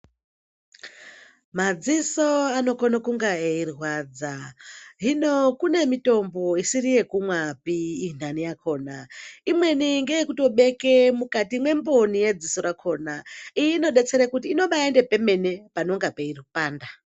Madziso anokonekunge eirwadza hino kune mitombo isiri yekumwapi indani yakona imweni ngeyekutobeke mukati mwemboni mwediso mwakona iyi inodetsere kuti inobaende pemene panenge peipanda.